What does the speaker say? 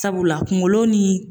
Sabula kungolo ni